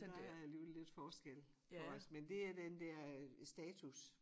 Der er alligevel lidt forskel på os men det er den dér status